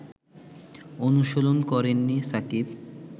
অনুশীলন করেননি সাকিব